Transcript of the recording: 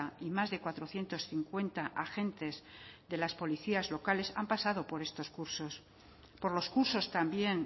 y más de cuatrocientos cincuenta agentes de las policías locales han pasado por estos cursos por los cursos también